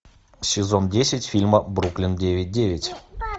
сезон десять фильма бруклин девять девять